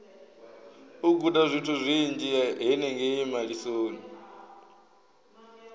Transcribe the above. u gudazwithu zwinzhi henengei malisoni